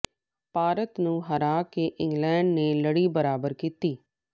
ਭਾਰਤ ਨੂੰ ਹਰਾ ਕੇ ਇੰਗਲੈਂਡ ਨੇ ਲੜੀ ਬਰਾਬਰ ਕੀਤੀ